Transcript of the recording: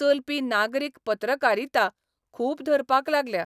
चलपी नागरीक पत्रकारिता मूख धरपाक लागल्या.